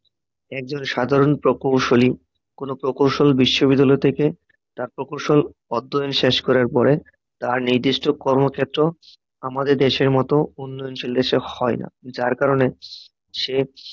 একজন সাধারণ প্রকৌশলী, কোনো প্রকৌশল বিশ্ববিদ্যালয় থেকে তার প্রকৌশল অধ্যয়ন শেষ করার পরে তার নির্দিষ্ট কর্মক্ষেত্র আমাদের দেশের মতো উন্নয়নশীল দেশে হয় না যার কারণে সে